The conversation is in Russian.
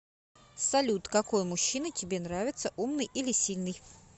салют какой мужчина тебе нравится умный или сильный